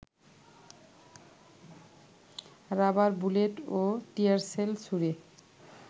rubber bullet ও tear shell ছুড়ে